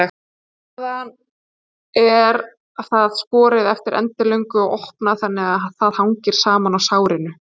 Síðan er það skorið eftir endilöngu og opnað þannig að það hangir saman á sárinu.